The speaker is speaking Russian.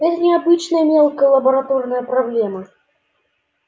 это не обычная мелкая лабораторная проблема